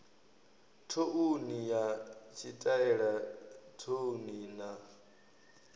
thouni na tshitaela thouni na